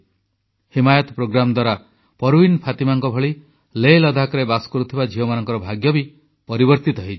Himayat program ଦ୍ୱାରା ପରୱିନ ଫାତିମାଙ୍କ ଭଳି ଲେହଲଦାଖରେ ବସବାସ କରୁଥିବା ଝିଅମାନଙ୍କର ଭାଗ୍ୟ ବି ପରିବର୍ତ୍ତିତ ହୋଇଛି